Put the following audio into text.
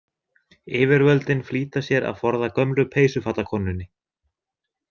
Yfirvöldin flýta sér að forða gömlu peysufatakonunni.